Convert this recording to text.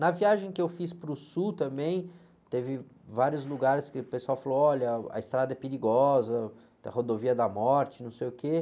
Na viagem que eu fiz para o sul também, teve vários lugares que o pessoal falou, olha, a estrada é perigosa, tem a rodovia da morte, não sei o quê.